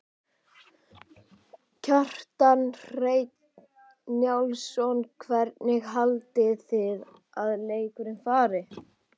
Kjartan Hreinn Njálsson: Hvernig haldið þið að leikurinn fari?